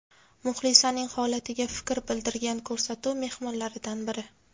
Muxlisaning holatiga fikr bildirgan ko‘rsatuv mehmonlaridan biri.